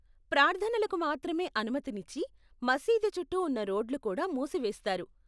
ప్రార్థనలకు మాత్రమే అనుమతిని ఇచ్చి , మసీదు చుట్టూ ఉన్న రోడ్లు కూడా మూసివేస్తారు.